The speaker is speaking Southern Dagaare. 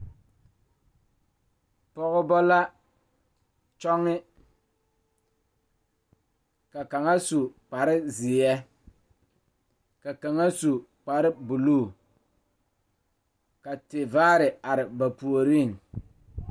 Dɔɔ kaŋa are la pegle bɔtuloŋ kaa pɔge are kaa zu waa pelaa su kpare ziɛ kaa bamine meŋ teɛ ba nuure kyɛ ba a wire ba nyɛmɛ.